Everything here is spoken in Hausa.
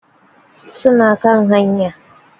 Suna kan haya.